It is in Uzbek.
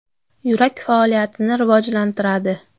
Yurak faoliyatini rivojlantiradi.